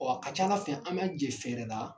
Ɔɔ a ka ca ala fɛ an b'an jɛ fɛɛrɛ la